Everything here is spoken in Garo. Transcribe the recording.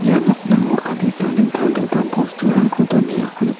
ia nokningo adita dingtang dingtang bosturangko donengako nik--